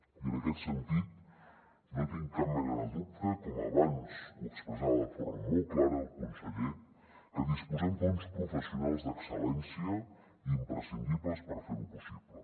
i en aquest sentit no tinc cap mena de dubte com abans ho expressava de forma molt clara el conseller que disposem d’uns professionals d’excel·lència imprescindibles per fer ho possible